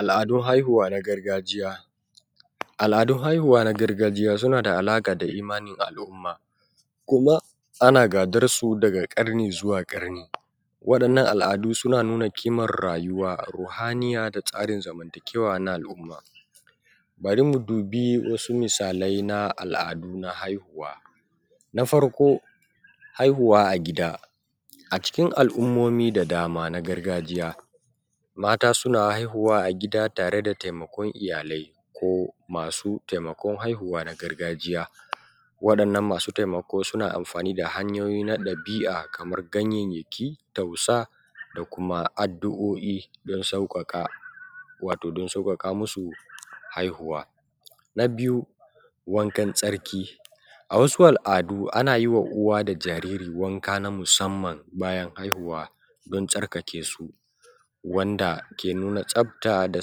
Al’adun haihuwa na gargajiya. Al’adun haihuwa na gargajiya suna da alaƙa da imanin al'umma, kuma, ana gadar su daga ƙarni zuwa ƙarni. Waɗannan al'adu suna nuna kimar rayuwa, ruhaniya da tsarin zamantakewa na al'umma. Bari mu dubi wasu misalai na al'adu na haihuwa. Na farko, haihuwa a gida. A cikin al’ummomi da dama na gargajiya, mata suna haihuwa a gida tare da taimakon iyalai ko masu taimakon haihuwa na gargajiya. Waɗannan masu taimako suna amfani da hanyoyi na ɗabi'a kamar ganyayyaki, tausa da kuma addu'o'i don sauƙaƙa watau don sauƙaƙa musu haihuwa. Na biyu, wankan tsarki. A wasu al'adu ana yi wa uwa da jariri wanka na musamman bayan haihuwa, don tsarkake su, wanda ke nuna tsafta da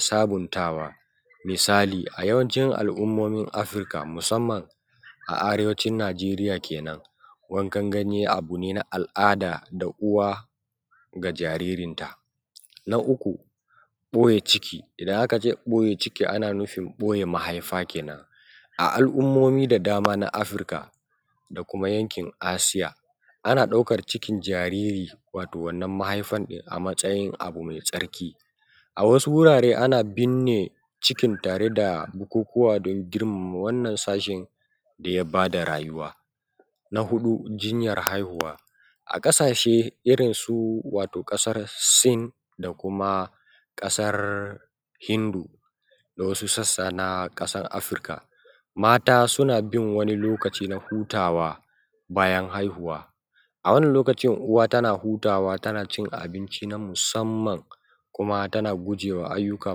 sabuntawa. Misali, a yawancin al’ummomin Afirka musamman a arewacin Nijeriya ke nan. Wankan ganye abu ne na al’'ada da uwa ga jaririnta. Na uku, ɓoye ciki. Idan aka ce ɓoye ciki, ana nufin ɓoye mahaifa ke nan. A al’ummomi da dama na Afirka, da kuma yankin Asiya, ana ɗaukar cikin jariri watau wannan mahaifan a matsayin abu mai tsarki. A wasu wurare ana binne cikin tare da bukukuwa don girmama wannan sashin da ya ba da rayuwa. Na huɗu, jinyar haihuwa. A ƙasashe irin su wato ƙasar Sin da kuma ƙasar Hindu, da wasu sassa na ƙasar Afirka, mata suna bin wani lokaci na hutawa bayan haihuwa. A wannan lokaci uwa tana hutawa tana cin abinci na musamman, kuma tana guje wa ayyuka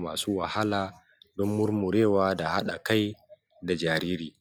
masu wahala don murmurewa da haɗa kai da jariri.